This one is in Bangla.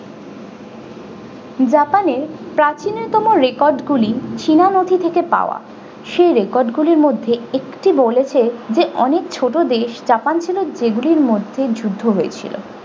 japan এ প্রাচীনতম record গুলি china নথি থেকে পাওয়া সেই record গুলির মধ্যে একটি বলেছে যে অনেক ছোট দেশ জাপান ছিল যেগুলির মধ্যে যুদ্ধ হয়েছিল।